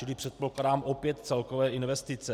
Čili předpokládám opět celkové investice.